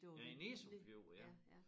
Ja i Nissum Fjord ja